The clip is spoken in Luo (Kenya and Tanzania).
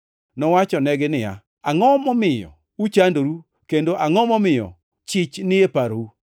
Nowachonegi niya, “Angʼo momiyo uchandoru, kendo angʼo momiyo chich ni e parou?